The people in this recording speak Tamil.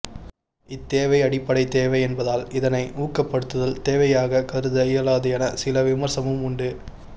இத்தேவை அடிப்படை தேவை என்பதால் இதனை ஊக்கப்படுத்தல் தேவையாகக் கருத இயலாது என சில விமர்சமும் உண்டு